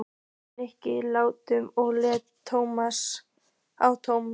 Nikki lágt og leit á Tómas.